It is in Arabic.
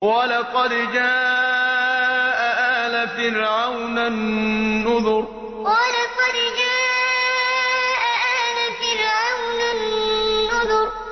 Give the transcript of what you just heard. وَلَقَدْ جَاءَ آلَ فِرْعَوْنَ النُّذُرُ وَلَقَدْ جَاءَ آلَ فِرْعَوْنَ النُّذُرُ